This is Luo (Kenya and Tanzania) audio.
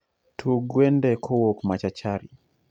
Tug wende kowuok machachari